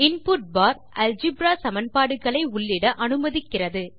input for algebra சமன்பாடுகளை உள்ளிட அனுமதிக்கிறது